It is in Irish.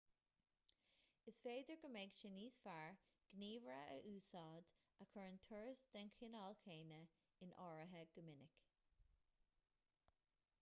is féidir go mbeadh sé níos fearr gníomhaire a úsáid a chuireann turais den chineál céanna in áirithe go minic